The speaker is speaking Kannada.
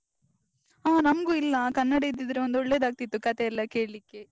ಆ ನಮ್ಗೂ ಇಲ್ಲ, ಕನ್ನಡ ಇದ್ದಿದ್ರೆ ಒಂದ್ ಒಳ್ಳೇದಾಗ್ತಿತ್ತು ಕಥೆ ಎಲ್ಲ ಕೇಳ್ಳಿಕ್ಕೆ.